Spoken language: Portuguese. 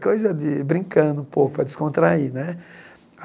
Coisa de brincando um pouco para descontrair né.